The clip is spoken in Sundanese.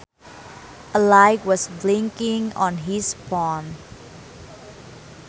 A light was blinking on his phone